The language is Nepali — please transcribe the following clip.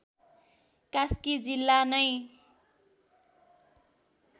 कास्की जिल्ला नै